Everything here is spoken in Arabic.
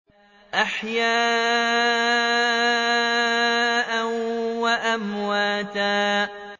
أَحْيَاءً وَأَمْوَاتًا